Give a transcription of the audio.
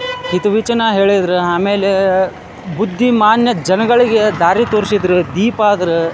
ಹಿತವಿಚನ ಹೇಳಿದ್ರೆ ಆಮೇಲೆ ಬುದ್ದಿಮಾನ್ಯ ಜನಗಳಿಗೆ ದಾರಿ ತೋರಿಸಿದ್ರೆ ದೀಪಾ ಆದ್ರೆ.